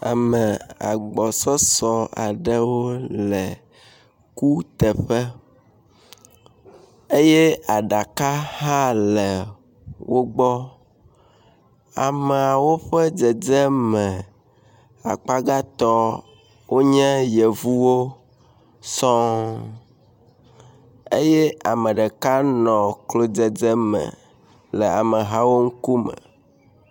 Ame agbɔsɔsɔ aɖe le kuteƒe eye aɖaka hã le wogbɔ, ameawo ƒe dzedzeme akpa gãtɔ wonye yevuwo sɔŋ eye ame ɖeka nɔ klo dzedzeme le amehawo ŋkume.